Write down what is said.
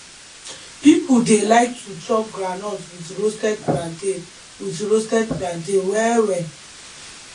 people dey like to chop groundnut with roasted plantain with roasted plantain well well